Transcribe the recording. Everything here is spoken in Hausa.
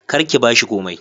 Kar ki bashi komai"